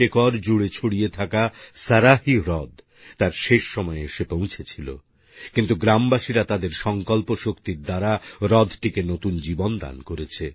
৪৩ acre জুড়ে ছড়িয়ে থাকা সারাহী হ্রদ তার শেষ সময়ে এসে পৌঁছেছিল কিন্তু গ্রামবাসীরা তাদের সংকল্প শক্তির দ্বারা হ্রদটিকে নতুন জীবন দান করেছে